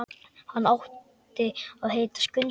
Hann átti að heita Skundi.